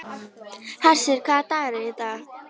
Hersir, hvaða dagur er í dag?